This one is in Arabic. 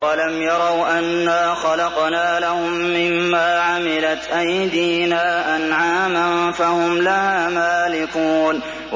أَوَلَمْ يَرَوْا أَنَّا خَلَقْنَا لَهُم مِّمَّا عَمِلَتْ أَيْدِينَا أَنْعَامًا فَهُمْ لَهَا مَالِكُونَ